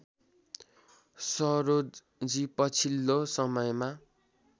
सरोजजी पछिल्लो समयमा